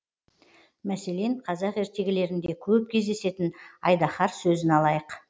мәселен қазақ ертегілерінде көп кездесетін айдаһар сөзін алайық